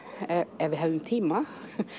ef við hefðum tíma